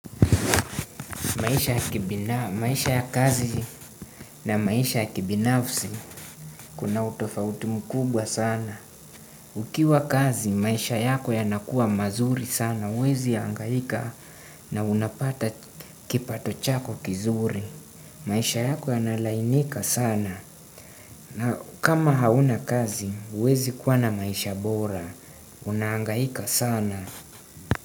Maisha ya kazi na maisha ya kibinafsi kuna utofauti mkubwa sana. Ukiwa kazi, maisha yako yanakua mazuri sana. Huwezi hangaika na unapata kipato chako kizuri. Maisha yako yanalainika sana. Na kama hauna kazi, huwezi kuwa na maisha bora. Unahangaika sana.